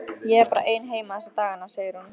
Ég er bara ein heima þessa dagana, segir hún.